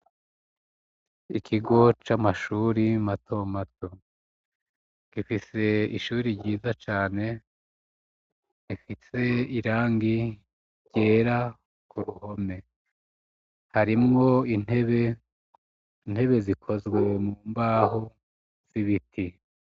Ikigo c'amashuri matomato. Gifise ishure ryiza cane, rifise irangi ryera ku ruhome. Harimwo intebe, intebe zikozwe mu mbaho z'ibiti.